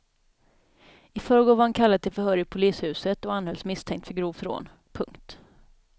I förrgår var han kallad till förhör i polishuset och anhölls misstänkt för grovt rån. punkt